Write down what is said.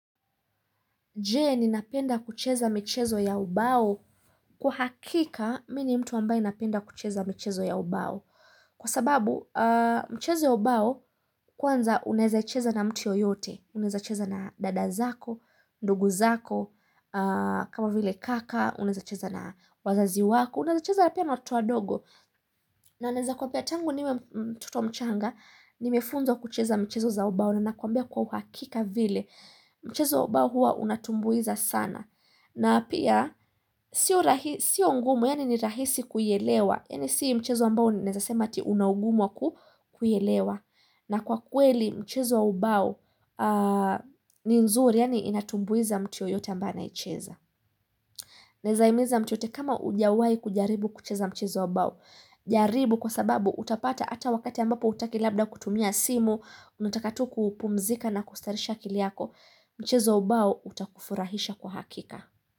Je ninapenda kucheza mchezo ya ubao kwa hakika mini mtu ambae ninapenda kucheza michezo ya ubao. Kwa sababu michezo ya ubao kwanza unaweza icheza na mtu yoyote. Unaweza icheza na dada zako, ndugu zako, kama vile kaka, unezaicheza na wazazi wako. Unaweza icheza pia na watoto wa dogo. Na ninaweza kukwambia tangu niwe mtoto mchanga, nimefunzwa kucheza michezo za ubao. Na nakwambia kwa uhakika vile mchezo wa ubao hua unatumbuiza sana na pia sio ngumu, yani ni rahisi kuielewa, yani si mchezo ambao naweza sema unaugumu wa kuielewa na kwa kweli mchezo wa ubao ni nzuri, yani inatumbuiza mtu yoyote ambae aicheza naimiza mtu yoyote kama ujawai kujaribu kucheza mchezo wa bao jaribu kwa sababu utapata ata wakati ambapo utaki labda kutumia simu unataka tu kuupumzika na kustareesha akili yako mchezo wa ubao utakufurahisha kwa hakika.